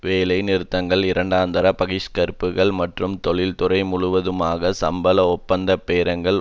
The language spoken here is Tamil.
வேலை நிறுத்தங்கள் இரண்டாந்தர பகிஷ்கரிப்புக்கள் மற்றும் தொழில்துறை முழுவதற்குமான சம்பள ஒப்பந்த பேரங்கள்